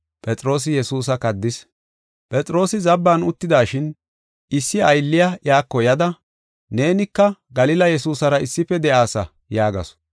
Phexroosi zabban uttidashin, issi aylliya iyako yada, “Neenika Galila Yesuusara issife de7aasa” yaagasu.